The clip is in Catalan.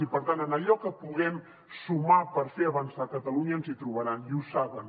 i per tant en allò que puguem sumar per fer avançar catalunya ens hi trobaran i ho saben